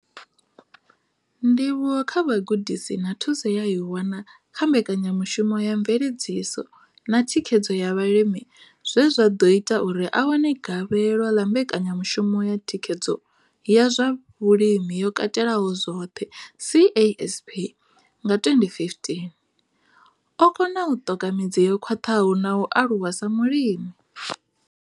Ndivhuwo kha vhugudisi na thuso ye a i wana kha mbekanyamushumo ya mveledziso na thikhedzo ya vhalimi zwe zwa ḓo ita uri a wane gavhelo ḽa mbekanyamushumo ya thikhedzo ya zwa Vhulimi yo Katelaho zwoṱhe CASP nga 2015, o kona u ṱoka midzi yo khwaṱhaho na u aluwa sa mulimi.